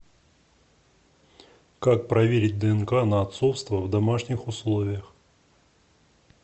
как проверить днк на отцовство в домашних условиях